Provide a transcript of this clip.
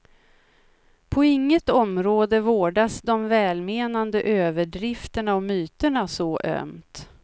På inget område vårdas de välmenande överdrifterna och myterna så ömt.